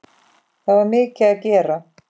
Það var mikið að gera.